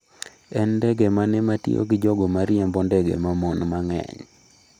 En ndege mane ma tiyo gi jogo ma riembo ndege ma mon mang’eny?